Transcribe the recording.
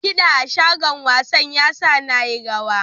Kida a shagon wasan ya sa na yi rawa.